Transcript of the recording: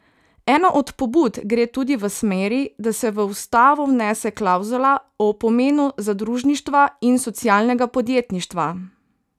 Ena od pobud gre tudi v smeri, da se v ustavo vnese klavzula o pomenu zadružništva in socialnega podjetništva.